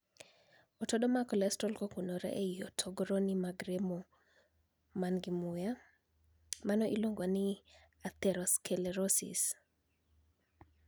Otodo mag kolestrol kokunore ei hotogoroni mag remo man gi muya, mano iluongo ni 'atherosclerosis.'